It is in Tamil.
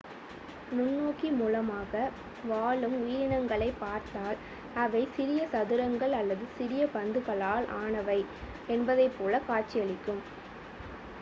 நுண்ணோக்கி மூலமாக வாழும் உயிரினங்களைப் பார்த்தால் அவை சிறிய சதுரங்கள் அல்லது சிறிய பந்துகளால் ஆனவை என்பதைப்போல காட்சியளிக்கும்